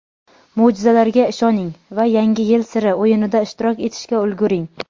Mo‘jizalarga ishoning va "Yangi yil siri" o‘yinida ishtirok etishga ulguring.